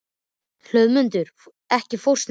Hlöðmundur, ekki fórstu með þeim?